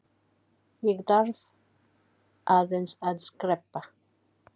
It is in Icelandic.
Ég þarf aðeins að skreppa.